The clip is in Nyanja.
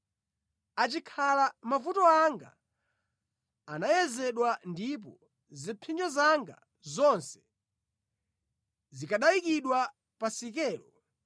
“Achikhala mavuto anga anayezedwa, ndipo zipsinjo zanga zonse zikanayikidwa pa sikelo!